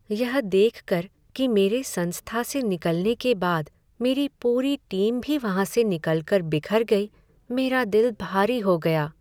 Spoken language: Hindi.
यह देख कर कि मेरे संस्था से निकलने के बाद मेरी पूरी टीम भी वहाँ से निकल कर बिखर गई, मेरा दिल भरी हो गया।